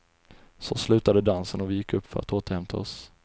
Så slutade dansen och vi gick upp för att återhämta oss.